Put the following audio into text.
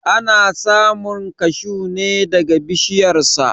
Ana samun kashuw ne daga bishiyar sa.